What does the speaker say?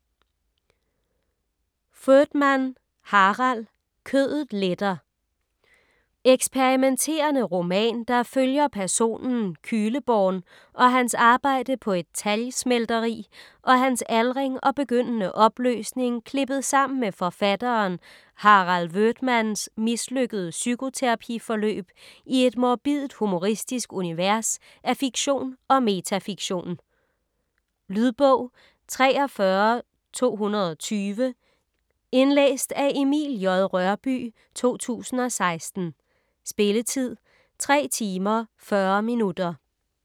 Voetmann, Harald: Kødet letter Eksperimenterende roman, der følger personen Kühleborn og hans arbejde på et talgsmelteri og hans aldring og begyndende opløsning klippet sammen med forfatteren Harald Voetmanns mislykkede psykoterapi-forløb i et morbidt-humoristisk univers af fiktion og metafiktion. Lydbog 43220 Indlæst af Emil J. Rørbye, 2016. Spilletid: 3 timer, 40 minutter.